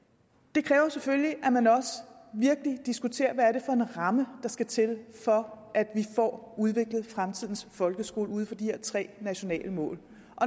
det kræver selvfølgelig at man også virkelig diskuterer hvad det er for en ramme der skal til for at vi får udviklet fremtidens folkeskole ud fra de her tre nationale mål og